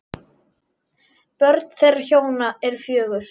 Börn þeirra hjóna eru fjögur.